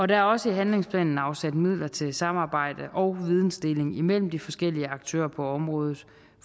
der er også i handlingsplanen afsat midler til samarbejde og vidensdeling imellem de forskellige aktører på området